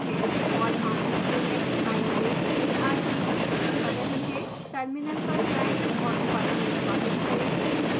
और हम index i में argv प्रिंट कर रहे हैं टर्मिनल पर जाएं और फाइल निष्पादित करें